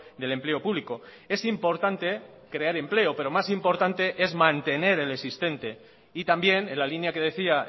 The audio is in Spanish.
del empleo público es importante crear empleo pero más importante es mantener el existente y también en la línea que decía